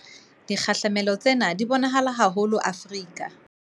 Dikgahlamelo tsena di bo nahala haholo Afrika